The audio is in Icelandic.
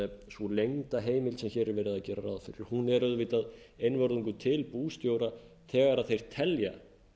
sú leynda heimild sem verið er að gera ráð fyrir er auðvitað einvörðungu til bústjóra þegar eir telja